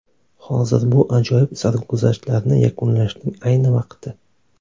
Hozir bu ajoyib sarguzashtlarni yakunlashning ayni vaqti.